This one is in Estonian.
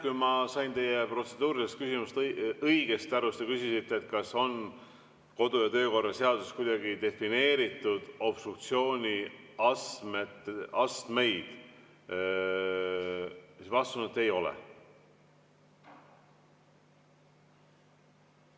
Kui ma sain teie protseduurilisest küsimusest õigesti aru, siis te küsisite, kas kodu- ja töökorra seaduses on obstruktsiooni astmeid kuidagi defineeritud, siis vastus on, et ei ole.